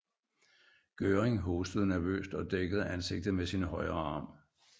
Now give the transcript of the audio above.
Göring hostede nervøst og dækkede ansigtet med sin højre arm